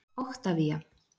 Oktavía